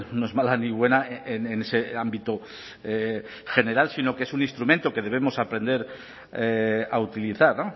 no es mala ni buena en ese ámbito general sino que es un instrumento que debemos aprender a utilizar